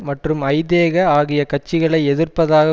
மற்றும் ஐதேக ஆகிய கட்சிகளை எதிர்ப்பதாக